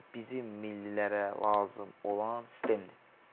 Bizim millilərə lazım olan sistemdir.